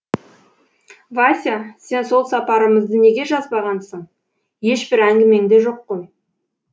вася сен сол сапарымызды неге жазбағансың ешбір әңгімеңде жоқ қой